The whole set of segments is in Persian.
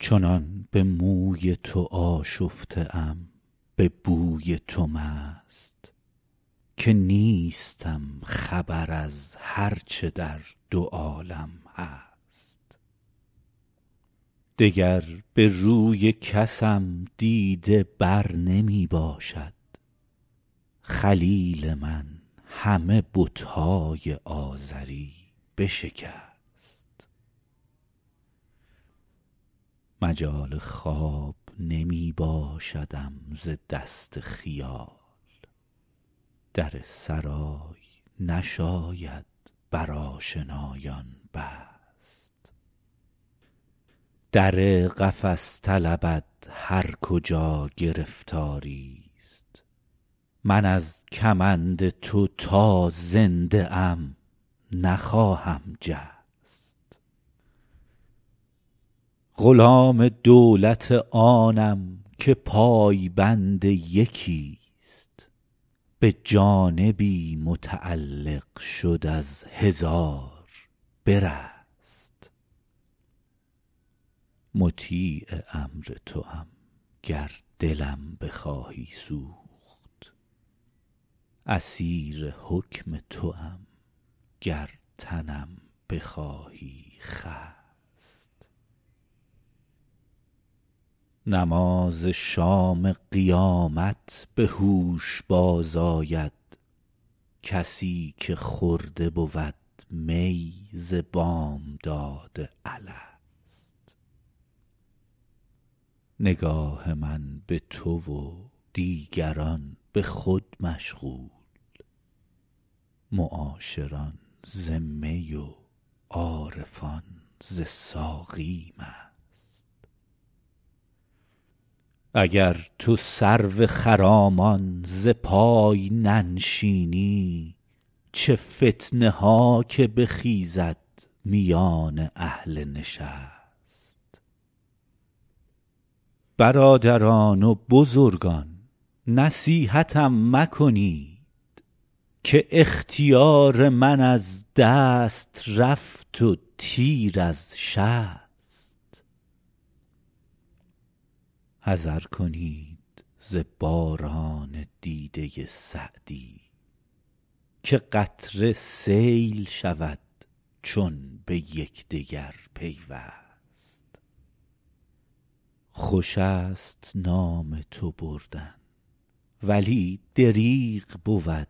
چنان به موی تو آشفته ام به بوی تو مست که نیستم خبر از هر چه در دو عالم هست دگر به روی کسم دیده بر نمی باشد خلیل من همه بت های آزری بشکست مجال خواب نمی باشدم ز دست خیال در سرای نشاید بر آشنایان بست در قفس طلبد هر کجا گرفتاری ست من از کمند تو تا زنده ام نخواهم جست غلام دولت آنم که پای بند یکی ست به جانبی متعلق شد از هزار برست مطیع امر توام گر دلم بخواهی سوخت اسیر حکم توام گر تنم بخواهی خست نماز شام قیامت به هوش باز آید کسی که خورده بود می ز بامداد الست نگاه من به تو و دیگران به خود مشغول معاشران ز می و عارفان ز ساقی مست اگر تو سرو خرامان ز پای ننشینی چه فتنه ها که بخیزد میان اهل نشست برادران و بزرگان نصیحتم مکنید که اختیار من از دست رفت و تیر از شست حذر کنید ز باران دیده سعدی که قطره سیل شود چون به یکدگر پیوست خوش است نام تو بردن ولی دریغ بود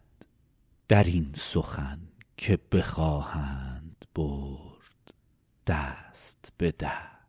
در این سخن که بخواهند برد دست به دست